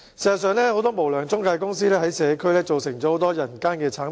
事實上，很多無良中介公司在社區造成很多人間慘劇。